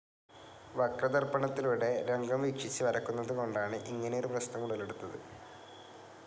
വക്രദർപ്പണത്തിലൂടെ രംഗം വീക്ഷിച്ച് വരക്കുന്നതുകൊണ്ടാണ് ഇങ്ങനെയൊരു പ്രശ്നം ഉടലെടുത്തത്.